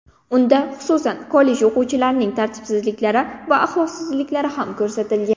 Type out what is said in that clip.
Unda, xususan, kollej o‘quvchilarining tartibsizliklari va axloqsizliklari ham ko‘rsatilgan.